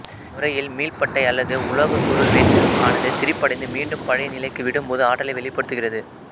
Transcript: இம்முறையில் மீள்பட்டை அல்லது உலோக சுருள்வில் ஆனது திரிபடைந்து மீண்டும் பழைய நிலைக்கு விடும்போது ஆற்றலை வெளிப்படுத்துகிறது